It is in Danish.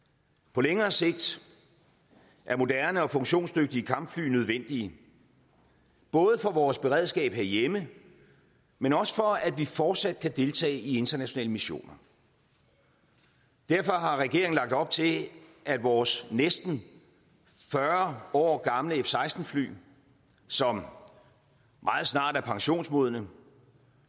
på længere sigt er moderne og funktionsdygtige kampfly nødvendige både for vores beredskab herhjemme men også for at vi fortsat kan deltage i internationale missioner derfor har regeringen lagt op til at vores næsten fyrre år gamle f seksten fly som meget snart er pensionsmodne